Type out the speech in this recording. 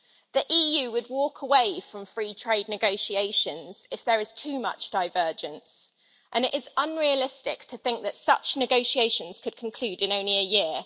The EU would walk away from free trade negotiations if there is too much divergence, and it is unrealistic to think that such negotiations could conclude in only a year.